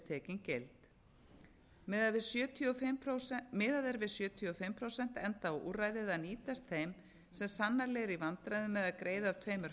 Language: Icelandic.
að umsókn sé tekin gild miðað er við sjötíu og fimm prósent enda á úrræðið að nýtast þeim sem sannanlega eru í vandræðum með að greiða af tveimur